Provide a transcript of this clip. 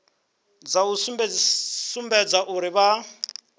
dza u sumbedza uri vha